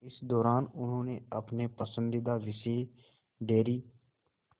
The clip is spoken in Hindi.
इस दौरान उन्होंने अपने पसंदीदा विषय डेयरी